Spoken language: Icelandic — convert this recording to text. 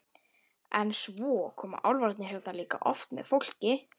En svo koma álfarnir hérna líka oft með fólki.